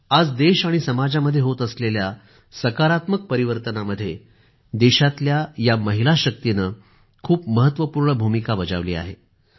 आज देश आणि समाजामध्ये होत असलेल्या सकारात्मक परिवर्तनामध्ये या देशातल्या महिला शक्तीने खूप महत्वपूर्ण भूमिका आहे